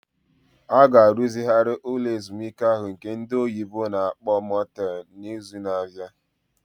A ga-arụzigharị ụlọ ezumike ahụ nke ndị oyibo na-akpọ Motel n'izu na-abịa.